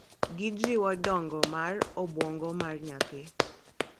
Gijiwo dongo mar obwongo mar nyathi.